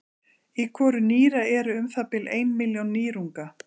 í hvoru nýra eru um það bil ein milljón nýrunga